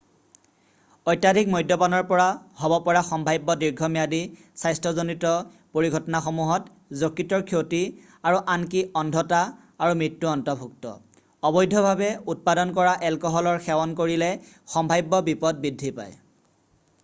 অত্যাধিক মদ্যপানৰ পৰা হ'ব পৰা সম্ভাব্য দীৰ্ঘম্যাদী স্বাস্থ্যজনিত পৰিঘটনাসমূহত যকৃতৰ ক্ষতি আৰু আনকি অন্ধতা আৰু মৃত্যু অন্তৰ্ভুক্ত অবৈধভাৱে উৎপাদন কৰা এলকহলৰ সেৱন কৰিলে সম্ভাব্য বিপদ বৃদ্ধি পায়